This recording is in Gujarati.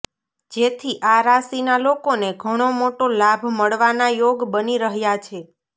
જેથી આ રાશિના લોકોને ઘણો મોટો લાભ મળવાના યોગ બની રહ્યા છે